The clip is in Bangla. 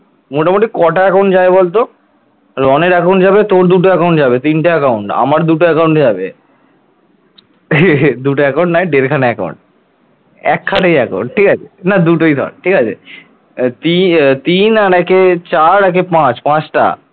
না দুটোই ধর ঠিক আছে এবারে তিন একে চার একে পাঁচ পাঁচটা